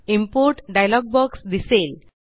import dialog box दिसेल